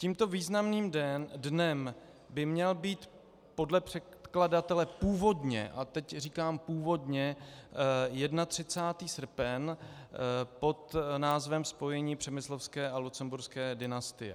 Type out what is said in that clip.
Tímto významným dnem by měl být podle předkladatele původně, a teď říkám původně, 31. srpen pod názvem Spojení přemyslovské a lucemburské dynastie.